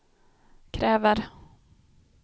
kräver